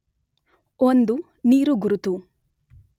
ಒಂದು ನೀರುಗುರುತು